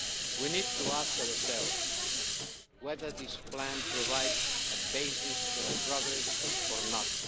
We need to ask ourselves whether this plan provides a basis for progress or not.